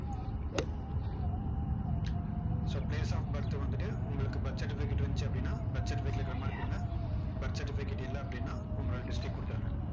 so place of birth வந்துட்டு, உங்களுக்கு birth certificate இருந்துச்சு அப்படின்னா birth certificate ல இருக்குற மாதிரி கொடுங்க birth certificate இல்ல அப்படின்னா, உங்களோட district கொடுத்துருங்க.